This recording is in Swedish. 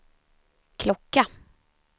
klocka